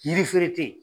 Yiri feere tɛ yen